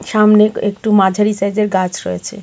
সামনে এক-একটু মাঝারি সাইজের গাছ রয়েছে.